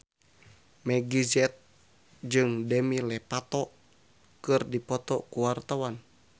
Meggie Z jeung Demi Lovato keur dipoto ku wartawan